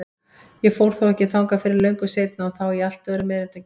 Ég fór þó ekki þangað fyrr en löngu seinna og þá í allt öðrum erindum.